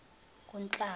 kunhlaba